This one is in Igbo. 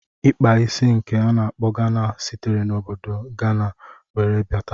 Ikpa isi nke a na-akpọ Gana sitere na obodo Gana wee bata.